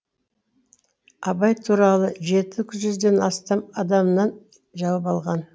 абай туралы жеті жүзден астам адамнан жауап алған